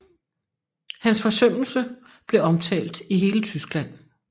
Hans forsømmelse blev omtalt i hele Tyskland